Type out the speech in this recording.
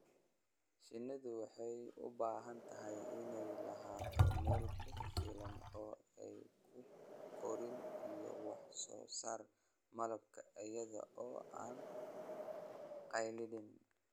Shinnidu waxay u baahan tahay inay lahaato meelo ku filan oo ay ku koraan iyo wax soo saarka malabka iyada oo aan carqaladayn.